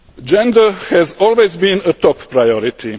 to justify any form of discrimination.